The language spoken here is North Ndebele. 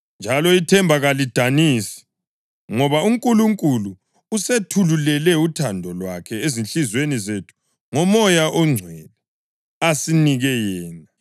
Njalo ithemba kalisidanisi, ngoba uNkulunkulu usethululele uthando lwakhe ezinhliziyweni zethu ngoMoya oNgcwele, asinike yena.